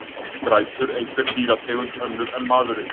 Grætur einhver dýrategund, önnur en maðurinn?